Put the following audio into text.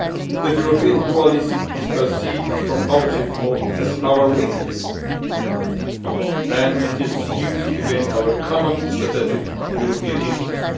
This European dualism is perceived from outside as our weakness and it is used against our common strategic European interest.